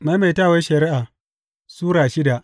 Maimaitawar Shari’a Sura shida